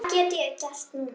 Hvað get ég gert núna?